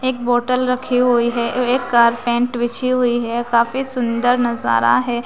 एक बॉटल रखें हुई है एक कारपेंट बिछीं हुई है और काफी सुंदर नजारा है।